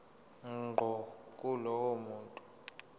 ngqo kulowo muntu